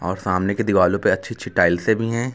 और सामने की दीवालो पे अच्छी अच्छी टाइल्सें भी हैं।